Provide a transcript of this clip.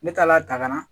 Ne taal'a dakana